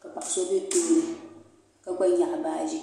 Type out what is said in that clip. ka paɣa so bɛ tooni ka gba nyaɣi baaji.